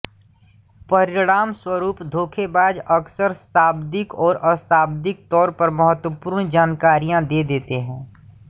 परिणामस्वरुप धोखेबाज अक्सर शाब्दिक और अशाब्दिक तौर पर महत्वपूर्ण जानकारियां दे देते हैं